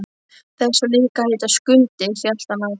Þessi á líka að heita Skundi, hélt hann áfram.